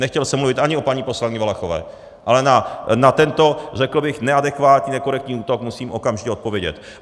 Nechtěl jsem mluvit ani o paní poslankyni Valachové, ale na tento, řekl bych, neadekvátní, nekorektní útok musím okamžitě odpovědět.